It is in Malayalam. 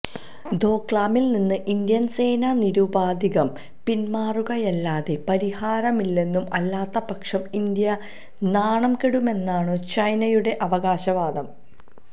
ദോക്ലാമില് നിന്ന് ഇന്ത്യന് സേന നിരുപാധികം പിന്മാറുകയല്ലാതെ പരിഹാരമില്ലെന്നും അല്ലാത്തപക്ഷം ഇന്ത്യ നാണം കെടുമെന്നുമാണു ചൈനയുടെ അവകാശവാദം